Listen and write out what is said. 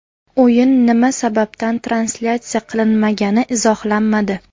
O‘yin nima sababdan translyatsiya qilinmagani izohlanmadi.